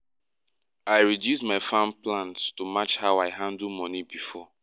i reduce my farm plans to match how i handle money before